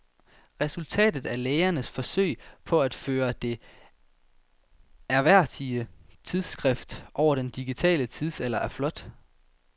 Resultatet af lægernes forsøg på at føre det ærværdige tidsskrift over i den digitale tidsalder er flot.